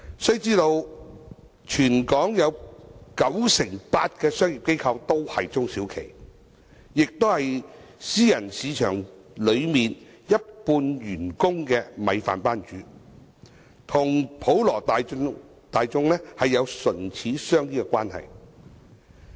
須知道全港有九成八的商業機構都是中小企，也是私人市場一半員工的"米飯班主"，與普羅大眾有唇齒相依的關係。